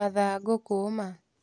Mathagũ kũũma